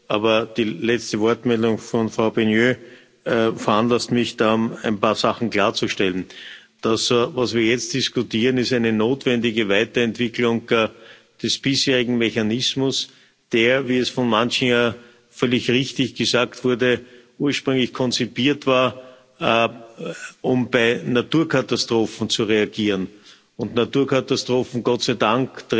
Aber die letzte Wortmeldung von Frau Beigneux veranlasst mich dann, ein paar Sachen klarzustellen. Das, was wir jetzt diskutieren, ist eine notwendige Weiterentwicklung des bisherigen Mechanismus, der, wie es von manchen völlig richtig gesagt wurde, ursprünglich konzipiert war, um bei Naturkatastrophen zu reagieren, und Naturkatastrophen treten Gott sei Dank